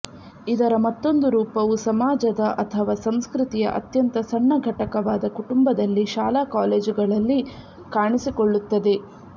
ಇದರ ಮತ್ತೊಂದು ರೂಪವು ಸಮಾಜದ ಅಥವಾ ಸಂಸ್ಕೃತಿಯ ಅತ್ಯಂತ ಸಣ್ಣ ಘಟಕವಾದ ಕುಟುಂಬದಲ್ಲಿ ಶಾಲಾ ಕಾಲೇಜುಗಳಲ್ಲಿ ಕಾಣಿಸಿಕೊಳ್ಳುತ್ತದೆ